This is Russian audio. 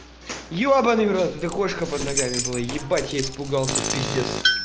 ебанный в рот это кошка под ногами было ебать я испугался пиздец